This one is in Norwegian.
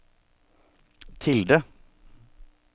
tilde